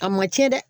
A ma tiɲɛ dɛ